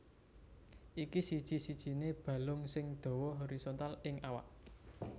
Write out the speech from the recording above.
Iki siji sijiné balung sing dawa horizontal ing awak